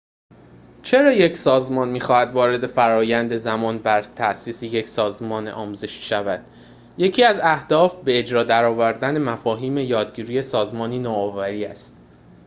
چرا یک سازمان می‌خواهد وارد فرآیند زمان‌بر تأسیس یک سازمان آموزشی شود یکی از اهداف به اجرا درآوردن مفاهیم یادگیری سازمانی نوآوری است